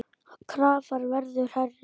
Krafan verður hærri.